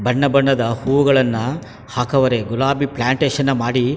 ಬಣ್ಣ ಬಣ್ಣದ ಹೂಗಳನ್ನಾ ಹಾಕವ್ರೆ ಗುಲಾಬಿ ಪ್ಲಾಂಟೇಷನ್ ಮಾಡಿ --